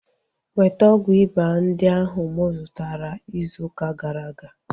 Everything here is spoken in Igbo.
Weta ọgwụ ịba ndị ahu mụ zụtara izu ụka gara aga!